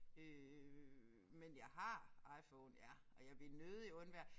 Øh men jeg har IPhone ja og jeg vil nødig undvære